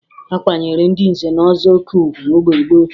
A kwanyere ndị nze na ọzọ oke ugwu mgbe gboo